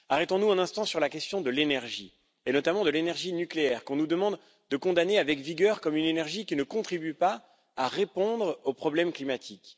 Arrêtons nous un instant sur la question de l'énergie, notamment de l'énergie nucléaire qu'on nous demande de condamner avec vigueur comme une énergie qui ne contribue pas à répondre aux problèmes climatiques.